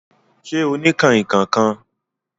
Ṣẹ́ ọ ni kanrínnkan kan?